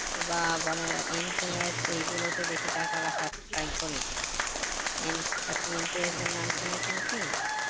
বা বলেন NPS এই গুলোতে বেশি টাকা রাখার try করি এন আপনি NPS এর নাম শুনেছেন কি